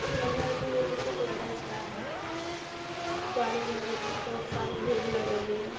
लग रहा है की ये किसी गैरेज का है गाड़ी गैरेज में बहुत सारी भीड़ लग रही है |